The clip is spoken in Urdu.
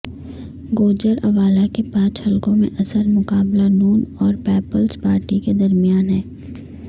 گوجرانوالہ کے پانچ حلقوں میں اصل مقابلہ نون اور پیپلز پارٹی کے درمیان ہے